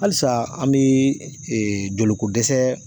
Halisa an bi jolikodɛsɛ